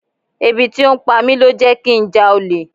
Ebi tí ó ń pa mi ló jẹ́ kí n já olè.